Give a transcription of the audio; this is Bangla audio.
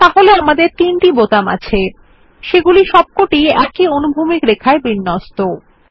তাহলে আমাদের তিনটি বোতাম আছে সেগুলি সব কটিই অনুভূমিক রেখায় বিন্যস্ত